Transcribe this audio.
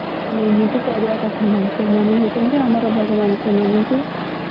ଏମିତି କରିବା କଥା ନାହିଁ ସେମାନେ ହଉଛନ୍ତି ଆମର ଭଗବାନ ସେମାନଙ୍କୁ